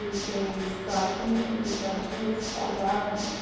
Ele tem, sai comidas, entradinhas, salgados...